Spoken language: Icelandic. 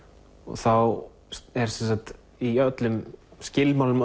þá er sem sagt í öllum skilmálum